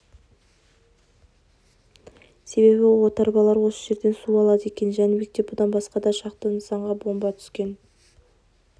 себебі отарбалар осы жерден су алады екен жәнібекте бұдан басқа да шақты нысанға бомба түскен